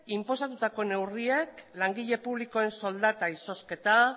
inposatutako neurriek langile publikoen soldata izozketa